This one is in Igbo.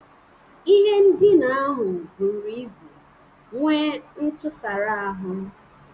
Ihe ndina ahụ buru ibu nwee ntụsara ahụ.